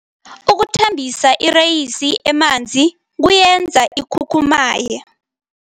Ukuthambisa ireyisi emanzini kuyenza ikhukhumaye.